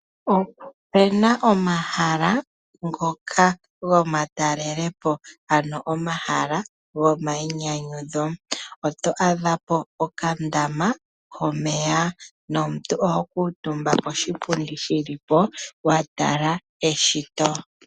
Opena omahala ngoka gomatalelepo ano omahala gomayinyanyudho, oto adha po okandama komeya nomuntu oho kuutumba poshipundi shili po watala eshito.